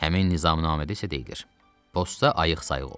Həmin nizamnamədə isə deyilir: Posta ayıq-sayıq ol.